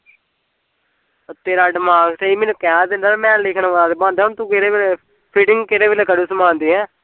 ਤੇਰਾ ਦਿਮਾਗ ਸਹੀਂ ਮੈਨੂੰ ਕਹਿ ਦਿੰਦਾ ਤੇ ਮੈਂ ਲਿਖਣ ਵਾਲਾ ਤੇ ਬਣਦਾ ਹੁਣ ਤੂੰ ਕਿਹੜੇ ਵੇਲ਼ੇ fitting ਕਿਹੜੇ ਵੇਲ਼ੇ ਕਰੂ ਸਮਾਨ ਦੀ ਹੈਂ